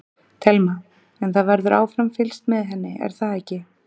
Telma: En það verður áfram fylgst með henni er það ekki?